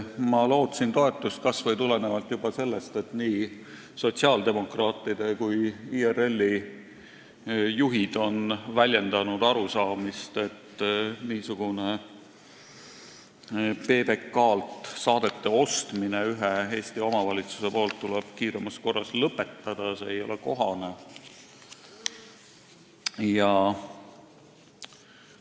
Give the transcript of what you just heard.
Ma lootsin toetust, kas või juba sellepärast, et nii sotsiaaldemokraatide kui ka IRL-i juhid on väljendanud arusaamist, et niisugune PBK-lt saadete ostmine tuleb kiiremas korras lõpetada, see ei ole ühele Eesti omavalitsusele kohane.